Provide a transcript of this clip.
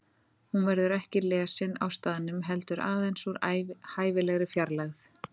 Hún verður ekki lesin á staðnum heldur aðeins úr hæfilegri fjarlægð.